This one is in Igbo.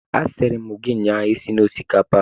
A sịrị m gi ụnyaahụ esila osikapa!